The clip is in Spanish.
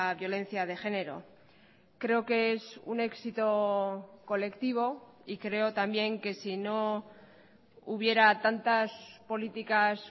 violencia de género creo que es un éxito colectivo y creo también que sino hubiera tantas políticas